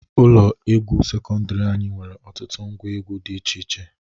Ụlọ egwu sekọndiri anyị nwere ọtụtụ ngwa egwu dị iche iche.